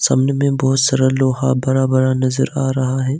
सामने में बहुत सारा लोहा बड़ा बड़ा नजर आ रहा है।